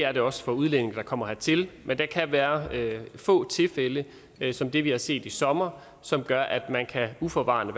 er det også for udlændinge der kommer hertil men det kan være få tilfælde som det vi har set i sommer som gør at man uforvarende